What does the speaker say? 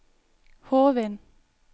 Hovin